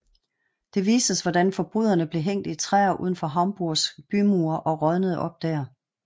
Det vises hvordan forbrydere blev hængt i træer udenfor Hamburgs bymure og rådnede op der